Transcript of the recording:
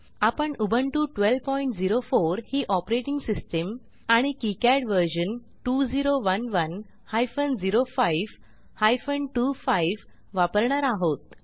आपण उबुंटू 1204 ही operating system आणि किकाड व्हर्शन 2011 हायफेन 05 हायफेन 25 वापरणार आहोत